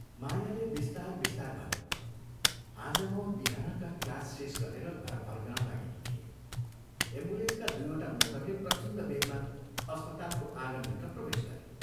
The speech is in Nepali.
मायाले बिस्तार बिस्तार भनी, "आज म बिहानका क्लास शेष गरेर घर फर्कन लागेकी थिएँ, एम्बुलेन्सका दुइवटा मोटरले प्रचण्ड बेगमा अस्पतालको आँगनभित्र प्रवेश गरे।